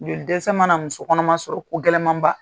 Joli dɛsɛ mana muso kɔnɔma sɔrɔ ko gɛlɛnman ba.